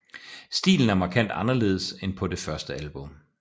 Stilen er markant anderledes end på det første album